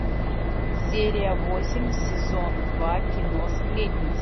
серия восемь сезон два кино сплетница